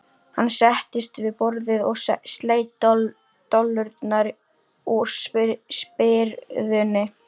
Hann settist við borðið og sleit dollurnar úr spyrðunni.